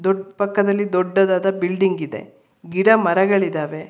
ಪಕ್ಕದಲ್ಲಿ ದೊಡ್ಡದಾದ ಬಿಲ್ಡಿಂಗ್ ಇದೆ ಗಿಡ ಮರಗಳಿದ್ದಾವೆ.